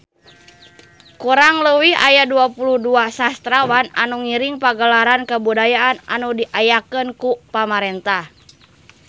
Kurang leuwih aya 22 sastrawan anu ngiring Pagelaran Kabudayaan anu diayakeun ku pamarentah